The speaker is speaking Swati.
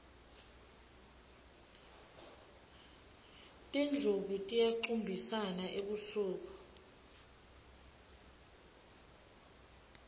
tindlubu tiyacumbisana ebusuku